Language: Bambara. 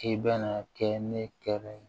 K'i bɛna kɛ ne kɛlɛ ye